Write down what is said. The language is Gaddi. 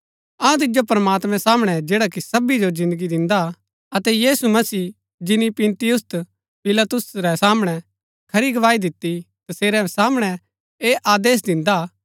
अऊँ तिजो प्रमात्मैं सामणै जैडा कि सबी जो जिन्दगी दिन्दा हा अतै यीशु मसीह जिनी पुन्‍तियुस पिलातुस रै सामणै खरी गवाही दिती तसेरै सामणै ऐह आदेश दिन्दा हा